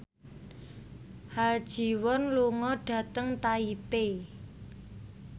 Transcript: Ha Ji Won lunga dhateng Taipei